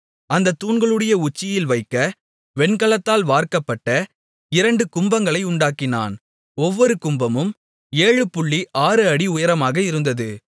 அந்தத் தூண்களுடைய உச்சியில் வைக்க வெண்கலத்தால் வார்க்கப்பட்ட இரண்டு கும்பங்களை உண்டாக்கினான் ஒவ்வொரு கும்பமும் 76 அடி உயரமாக இருந்தது